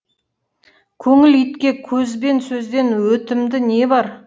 көңіл итке көз бен сөзден өтімді не бар